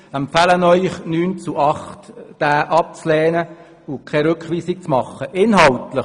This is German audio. Wir empfehlen Ihnen mit 9 zu 8 Stimmen, diesen abzulehnen und auf eine Rückweisung zu verzichten.